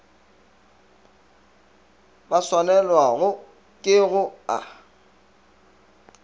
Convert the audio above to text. ba swanelwago ke go a